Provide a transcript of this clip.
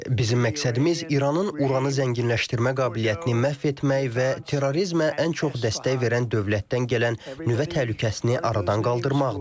Bizim məqsədimiz İranın uranı zənginləşdirmə qabiliyyətini məhv etmək və terrorizmə ən çox dəstək verən dövlətdən gələn nüvə təhlükəsini aradan qaldırmaqdır.